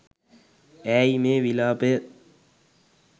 ඈයි මේ විලාපය